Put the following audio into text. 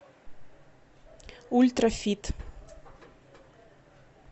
ультрафит